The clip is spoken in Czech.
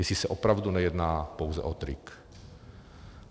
Jestli se opravdu nejedná pouze o trik.